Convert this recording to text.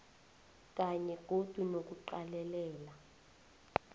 kanye godu nokuqalelela